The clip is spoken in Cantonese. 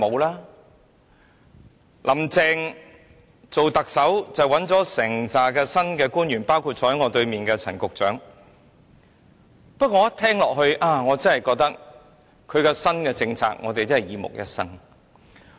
"林鄭"當特首，找來了一批新官員，包括坐在我對面的陳局長，他的新政策聽起來真的令人"耳目一新"。